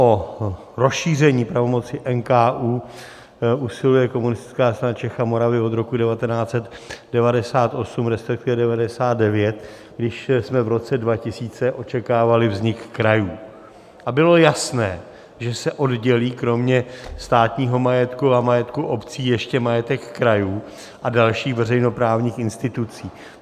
O rozšíření pravomoci NKÚ usiluje Komunistická strana Čech a Moravy od roku 1998, respektive 1999, když jsme v roce 2000 očekávali vznik krajů a bylo jasné, že se oddělí kromě státního majetku a majetku obcí ještě majetek krajů a dalších veřejnoprávních institucí.